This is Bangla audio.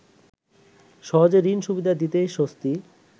সহজে ঋণ সুবিধা দিতেই স্বস্তি